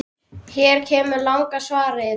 Hér kemur langa svarið